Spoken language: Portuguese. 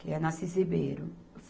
que é na Assis Ribeiro